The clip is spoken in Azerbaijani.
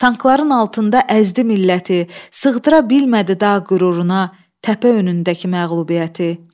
Tankların altında əzdi milləti, sığdıra bilmədi dağ qüruruna, təpə önündəki məğlubiyyəti.